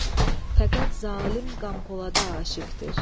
Fəqət zalım Qampolada aşiqdir.